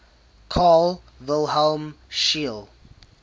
carl wilhelm scheele